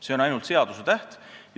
See on ainult seadusetäht.